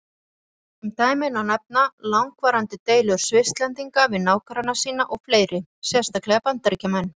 Sem dæmi má nefna langvarandi deilur Svisslendinga við nágranna sína og fleiri, sérstaklega Bandaríkjamenn.